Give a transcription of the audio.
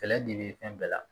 Kɛlɛ de bɛ fɛn bɛɛ la